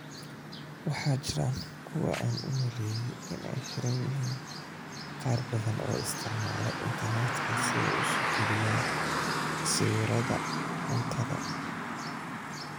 Waxaa jira kuwa u maleeyay in ay xiran yihiin qaar badan oo isticmaala internetka si ay u soo galiyaan sawirada cuntada.